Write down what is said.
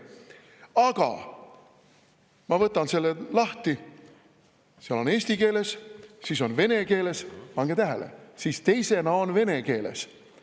Aga ma võtan selle lahti: seal on eesti keeles, siis vene keeles – pange tähele, teisena on vene keeles!